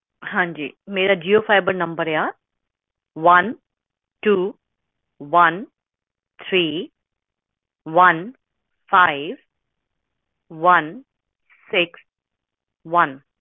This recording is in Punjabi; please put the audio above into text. ਹਾਂਜੀ ਮੇਰਾ ਜੀਓ ਫਾਈਬਰ ਨੰਬਰ ਆ one two one three one five one six one